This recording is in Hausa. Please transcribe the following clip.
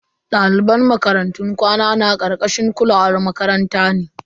Daliban makarantun kwana na karkashin kulawan makaranta ne.